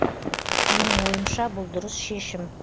менің ойымша бұл дұрыс шешім